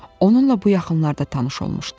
Onunla bu yaxınlarda tanış olmuşdum.